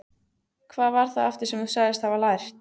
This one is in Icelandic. Hvað var það aftur sem þú sagðist hafa lært?